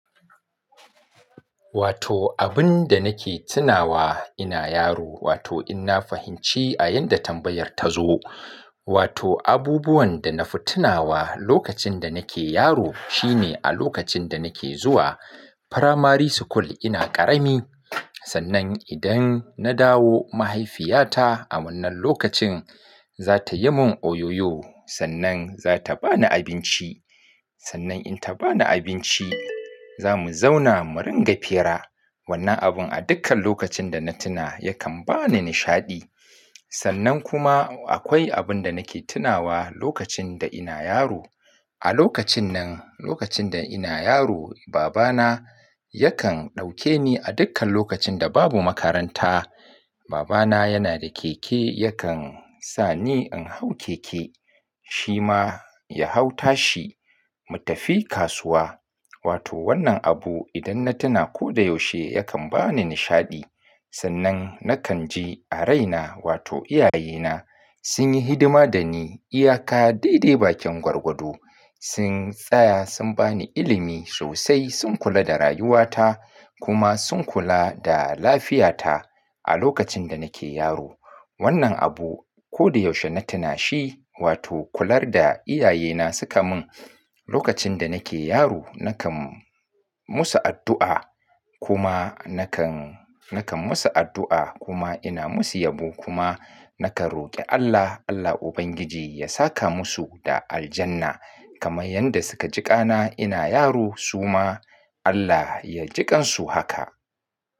Wato abun da nake tunawa ina yaro wato ina fahimci a yanda tambayar ta zo. Wato abubuwan da na fi tunawa lokacin da nake yaro shine a lokacin da nake zuwa primary school ina ƙarami. Sannan idan na dawo mahaifiyata a wannan lokacin za ta yi mun oyoyo sannan za ta bani abinci. Sannan in ta bani abinci za mu zauna mu ringa fira. Wannan abun a dukkan lokacin da na tuna yakan bani nishaɗi. Sannan kuma akwai abun da nake tunawa lokacin da ina yaro. A lokacin nan, lokacin da ina yaro baba na yakan ɗauke ni a dukkan lokacin da babu makaranta. Baba na yana da keke yakan sa ni in hau keke shi ma ya hau tashi mu tafi kasuwa. Wato wannan abu idan na tuna ko da yaushe yakan bani nishaɗi. Sannan nakan ji a raina wato iyaye na sun yi hidima da ni iyaka dai dai bakin gwargwado. Sun tsaya sun bani ilimi sosai sun kula da rayuwata kuma sun kula da lafiyata a lokacin da nake yaro. Wannan abu ko da yaushe na tuna shi wato kular da iyaye na suka mun lokacin da nake yaro. Nakan musu addu'a kuma nakan, nakan musu addu'a kuma ina musu yabo kuma nakan roƙi Allah, Allah Ubangiji ya saka musu da aljanna kamar yanda suka jiƙana ina yaro su ma Allah ya jiƙansu haka.